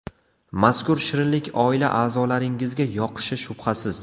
Mazkur shirinlik oila a’zolaringizga yoqishi shubhasiz.